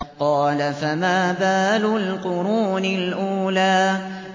قَالَ فَمَا بَالُ الْقُرُونِ الْأُولَىٰ